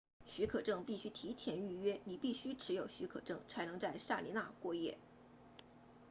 许可证必须提前预约你必须持有许可证才能在塞利纳过夜